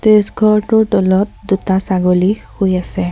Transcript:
ঘৰটোৰ তলত দুটা ছাগলী শুই আছে।